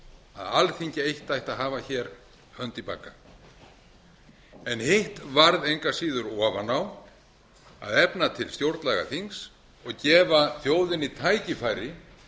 að alþingi eitt ætti að hafa hér hönd í bagga en hitt varð engu að áður ofan á að efna til stjórnlagaþings og gefa þjóðinni tækifæri